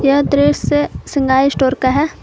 यह दृश्य श्रृंगार स्टोर का है।